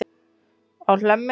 á Hlemmi.